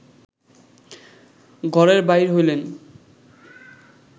ঘরের বাহির হইলেন